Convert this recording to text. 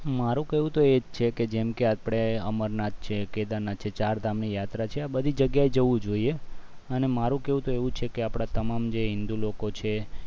મારું કેવું તો એ જ છે કે જેએમ કે આપણે અમરનાથ છે કેદારનાથ છે ચારધામની યાત્રા છે આ બધી જગ્યાએ જવું જોઈએ અને મારું કેવું તો એવું છે કે આપણે તમામ જે હિન્દુ લોકો છે